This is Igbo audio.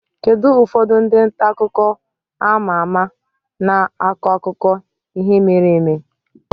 Kedu ụfọdụ ndị nta akụkọ a ma ama n'akụkọ ihe mere eme?